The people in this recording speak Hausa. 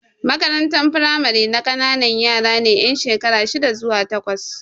Makarantar firamare na ƙanana yara ne yan shekara shida zuwa takwas.